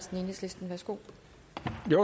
med